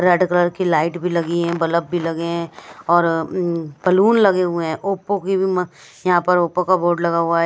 Red colour की light भी लगी हैं बल्ब भी लगे हैं और बैलून लगे हुए हैं ओप्पो की भी म यहां पर ओप्पो का बोर्ड लगा हुआ है।